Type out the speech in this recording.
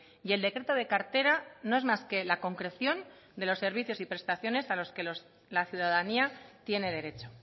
y el decreto de cartera no es más que la concreción de los servicios y prestaciones a los que la ciudadanía tiene derecho